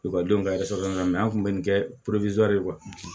Ekɔlidenw ka an tun bɛ nin kɛ